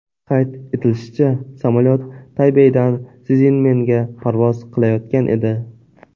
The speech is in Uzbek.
Qayd etilishicha, samolyot Taybeydan Szinmenga parvoz qilayotgan edi.